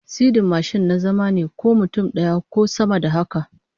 Sirdin mashin na zama ne, ko mutum daya ko sama da haka